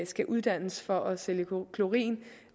skal uddannes for at sælge klorin